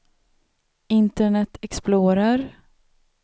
internet explorer